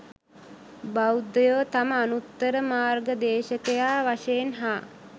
බෞද්ධයෝ තම අනුත්තර මාර්ගදේශකයා වශයෙන් හා